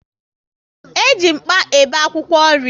E ji mkpa e be akwụkwọ nri